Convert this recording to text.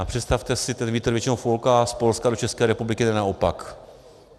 A představte si, ten vítr většinou fouká z Polska do České republiky, ne naopak.